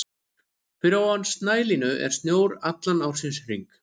Fyrir ofan snælínu er snjór allan ársins hring.